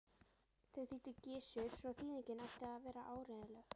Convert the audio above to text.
Þau þýddi Gizur svo þýðingin ætti að vera áreiðanleg.